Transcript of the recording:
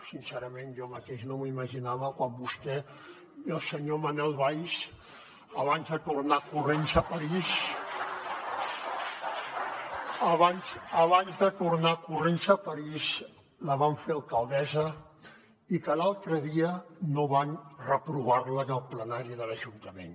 sincerament jo mateix no m’ho imaginava quan vostè i el senyor manuel valls abans de tornar corrents a parís la van fer alcaldessa i que l’altre dia no van reprovar la en el plenari de l’ajuntament